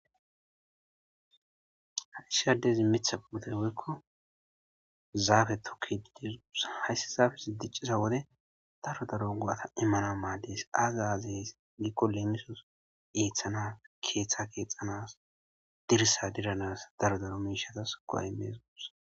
issi adezi Mitha putE Woyko Zafe tokidi haysan diciza daro daro imanas Mades aza aze Giko lemisos Ethana kexanas Dirisa diranas Mishatas go'a imanas Gusako